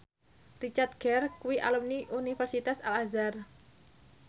Richard Gere kuwi alumni Universitas Al Azhar